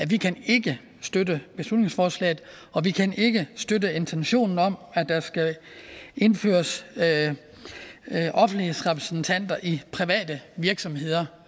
vi kan ikke støtte beslutningsforslaget og vi kan ikke støtte intentionen om at der skal indføres offentlighedsrepræsentanter i private virksomheder